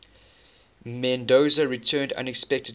mendoza returned unexpectedly